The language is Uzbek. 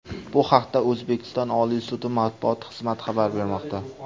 Bu haqda O‘zbekiston Oliy sudi matbuot xizmati xabar bermoqda .